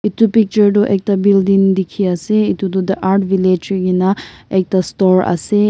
etu picture toh ekta building dekhi ase etu toh the art village hoikena ekta store ase.